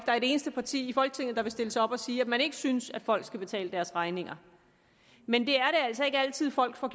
er et eneste parti i folketinget der vil stille sig op og sige at man ikke synes at folk skal betale deres regninger men det er altså ikke altid at folk får